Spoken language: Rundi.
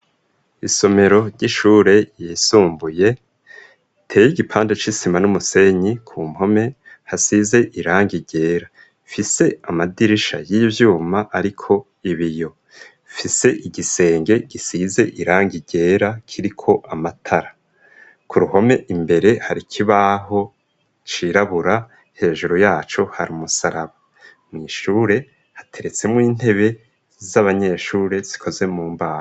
isomero ry'ishure yisumbuye iteye igipande c'isima n'umusenyi ku mpome hasize irangi ryera ifise amadirisha y'ivyuma ariko ibiyo ifise igisenge gisize irangi ryera kiriko amatara ku ruhome imbere hari ikibaho cirabura hejuru yacu hari umusaraba mw'ishure hateretsemwo intebe z'abanyeshure zikoze mu mbaho.